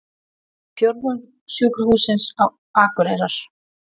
Fjórðungssjúkrahússins á Akureyrar.